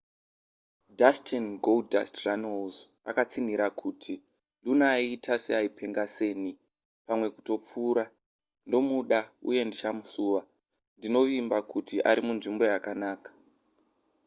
dustin goldust runnels akatsinhira kuti luna aita seaipenga senipamwe kutopfuurandomuda uye ndichamusuwandinovimba kuti ari munzvimbo yakanaka.